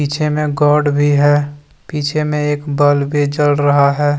पीछे में गॉड भी हैं पीछे में एक बल्ब भी जल रहा हैं।